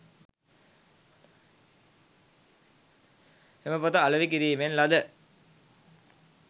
එම පොත අලෙවි කිරීමෙන් ලද